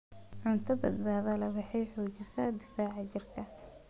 Cunto badbaado leh waxay xoojisaa difaaca jirka.